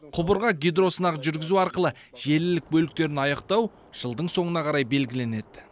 құбырға гидросынақ жүргізу арқылы желілік бөліктерін аяқтау жылдың соңына қарай белгіленеді